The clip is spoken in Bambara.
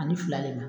Ani fila de ma